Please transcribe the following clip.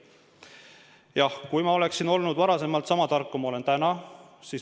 Jah, kui ma oleksin olnud varem sama tark, kui ma olen täna ...